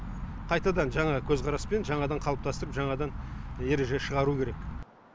қайтадан жаңа көзқараспен жаңадан қалыптастырып жаңадан ереже шығару керек